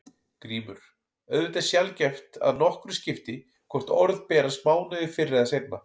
GRÍMUR: Auðvitað er sjaldgæft að nokkru skipti hvort orð berast mánuði fyrr eða seinna.